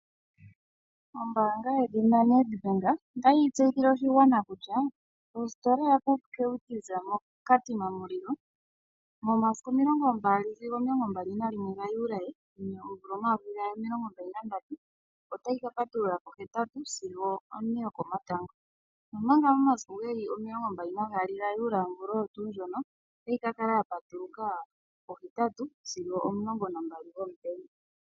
Ombaanga yedhina Nedbank otayi tseyithile oshigwana kutya ositola yaPupkewitz moKatima Mulilo 22 sigo 21 Juli 2023 otayi ka patulula pohetatu sigo one yokomatango, omanga momasiku 22Juli 2023 otayi kakala yapatula pohetatu sigo omulongo nambali gomutenya.